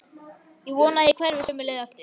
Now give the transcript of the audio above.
Ég vona að ég hverfi sömu leið aftur.